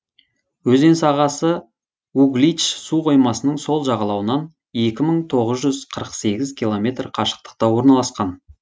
өзен сағасы углич су қоймасының сол жағалауынан екі тоғыз жүз қырық сегіз километр қашықтықта орналасқан